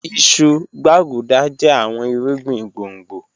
Ìṣù, gbàgúdà jẹ̀ àwọn ìrúgbìn gbọ̀ngbò